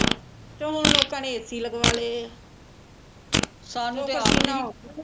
ਤੇ ਹੁਣ ਲੋਕਾਂ ਨੇ ਏ ਸੀ ਲਗਵਾ ਲੈ ਆ